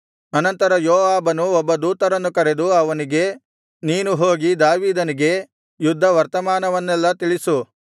ಅನಂತರ ಯೋವಾಬನು ಒಬ್ಬ ದೂತನನ್ನು ಕರೆದು ಅವನಿಗೆ ನೀನು ಹೋಗಿ ದಾವೀದನಿಗೆ ಯುದ್ಧ ವರ್ತಮಾನವನ್ನೆಲ್ಲಾ ತಿಳಿಸು